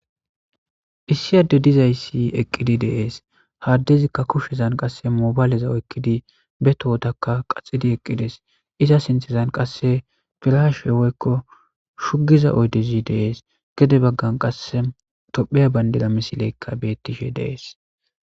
issi adde dizayssi eqqidi deees ha addezikka kushezan qasse moobayleza oykkidi be tohotakka qaxidi eqqides iza sinthezan qasse firashuewoykko shugiza oydezi dees gede baggan qasse topheya bayndeda misileykka bettishe deees